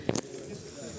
Gəldi, gəldi, gəldi.